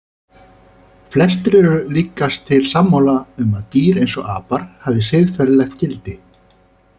Flestir eru líkast til sammála um að dýr eins og apar hafi siðferðilegt gildi.